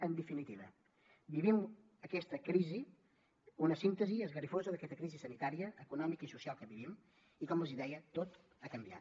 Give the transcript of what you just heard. en definitiva vivim aquesta crisi una síntesi esgarrifosa d’aquesta crisi sanitària econòmica i social que vivim i com els deia tot ha canviat